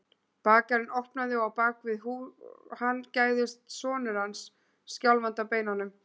Bakarinn opnaði og á bak við hann gægðist sonur hans, skjálfandi á beinunum.